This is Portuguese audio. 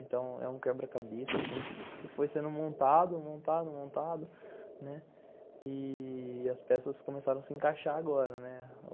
Então é um quebra-cabeça que foi sendo montado, montado, montado, né, e as peças começaram a se encaixar agora, né.